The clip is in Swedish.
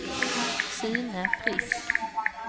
Sune Frisk